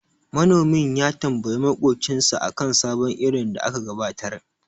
Manomin ya tambayi maƙocinsa akan sabon irin da aka gabatar.